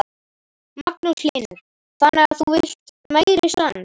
Magnús Hlynur: Þannig að þú villt meiri sand?